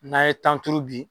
N'a ye tan turu bi.